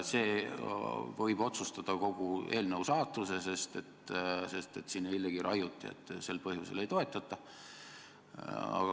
See võib otsustada kogu eelnõu saatuse, sest siin eilegi raiuti, et sel põhjusel ei toetata.